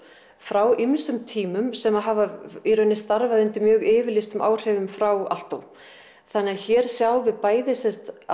frá ýmsum tímum sem hafa í raun starfað undir mjög yfirlýstum áhrifum frá Aalto þannig að hér sjáum við bæði sem sagt